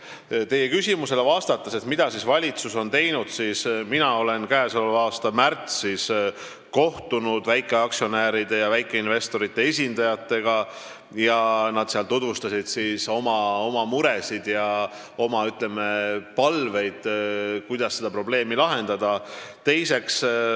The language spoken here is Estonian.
Vastates teie küsimusele, mida siis valitsus on teinud, ütlen, et mina käesoleva aasta märtsis kohtusin väikeaktsionäride ja väikeinvestorite esindajatega, kes tutvustasid oma muresid ja oma palveid seda probleemi lahendada.